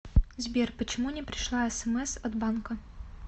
сбер почему не пришла смс от банка